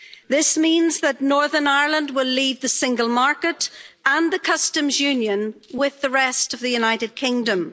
This means that Northern Ireland will leave the single market and the Customs Union with the rest of the United Kingdom.